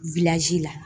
la